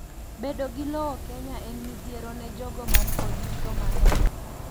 bedo gi lowo Kenya en midhiero ne jogo mankod yuto manok